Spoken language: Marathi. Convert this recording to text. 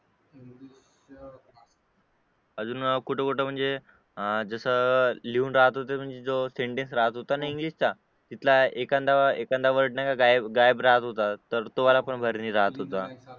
अजून कुठे कुठे म्हणजे जसं लिहून राहत होतं म्हणजे जो सेंटेन्स राहत होता ना इंग्लिश चा तिथला एखादा वर्ड नाही का गायब राहत होता तर तो वाला पण भरणे राहत होता